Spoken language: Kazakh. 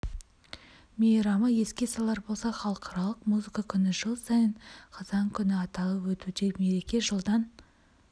мейрамы еске салар болсақ халықаралық музыка күні жыл сайын қазан күні аталып өтуде мереке жылдан